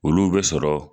Olu bɛ sɔrɔ